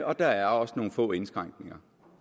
og der er også nogle få indskrænkninger